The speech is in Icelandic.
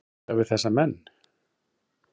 gera við þessa menn?